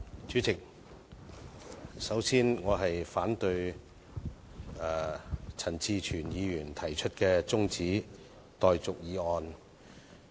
主席，我發言反對陳志全議員提出的辯論中止待續議案。